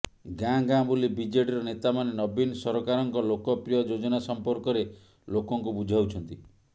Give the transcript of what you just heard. ଗାଁ ଗାଁ ବୁଲି ବିଜେଡିର ନେତାମାନେ ନବୀନ ସରକାରଙ୍କ ଲୋକପ୍ରିୟ ଯୋଜନା ସମ୍ପର୍କରେ ଲୋକଙ୍କୁ ବୁଝାଉଛନ୍ତି